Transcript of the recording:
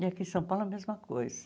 E aqui em São Paulo a mesma coisa.